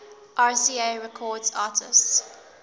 rca records artists